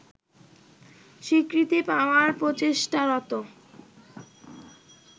স্বীকৃতি পাওয়ার প্রচেষ্টারত